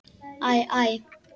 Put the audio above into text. Æ, æ!